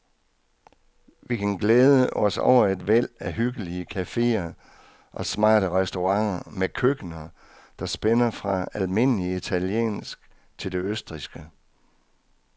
Vi kan glæde os over et væld af hyggelige caféer og smarte restauranter med køkkener, der spænder fra almindelig italiensk til det østrigske.